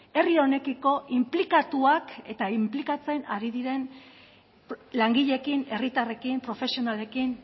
herri honekiko inplikatuak eta inplikatzen ari diren langileekin herritarrekin profesionalekin